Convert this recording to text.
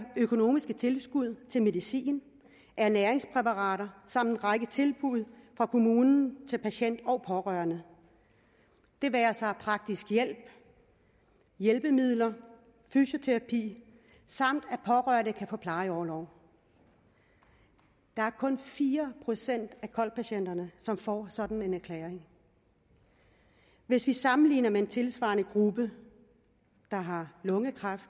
økonomiske tilskud til medicin ernæringspræparater samt en række tilbud fra kommunen til patient og pårørende det være sig praktisk hjælp hjælpemidler fysioterapi samt at pårørende kan få plejeorlov der er kun fire procent af kol patienterne som får sådan en erklæring hvis vi sammenligner med en tilsvarende gruppe der har lungekræft